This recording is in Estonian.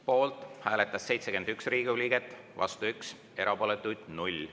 Poolt hääletas 71 Riigikogu liiget, vastu 1, erapooletuid 0.